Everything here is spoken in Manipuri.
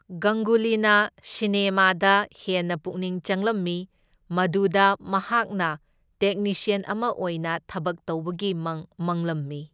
ꯒꯪꯒꯨꯂꯤꯅ ꯁꯤꯅꯦꯃꯥꯗ ꯍꯦꯟꯅ ꯄꯨꯛꯅꯤꯡ ꯆꯪꯂꯝꯃꯤ, ꯃꯗꯨꯗ ꯃꯍꯥꯛꯅ ꯇꯦꯛꯅꯤꯁꯤꯌꯟ ꯑꯃ ꯑꯣꯏꯅ ꯊꯕꯛ ꯇꯧꯕꯒꯤ ꯃꯪ ꯃꯪꯂꯝꯃꯤ꯫